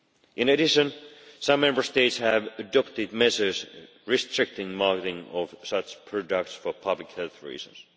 In addition, some Member States have adopted measures restricting marketing of such products for public health reasons.